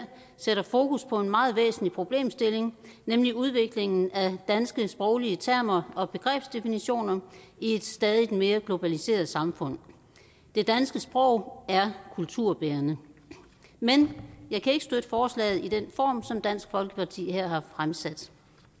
sætter fokus på en meget væsentlig problemstilling nemlig udviklingen af danske sproglige termer og begrebsdefinitioner i et stadig mere globaliseret samfund det danske sprog er kulturbærende men jeg kan ikke støtte forslaget i den form som dansk folkeparti her har fremsat